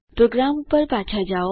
programme ઉપર પાછા આવો